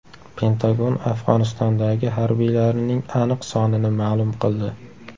Pentagon Afg‘onistondagi harbiylarining aniq sonini ma’lum qildi .